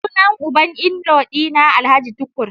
Sunan uban inlaw dina alhj tukur.